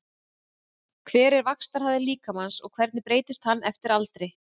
Hver er vaxtarhraði líkamans og hvernig breytist hann eftir aldri?